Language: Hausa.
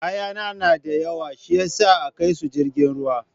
kayana na da yawa shiyasa akaisu jirgin ruwa.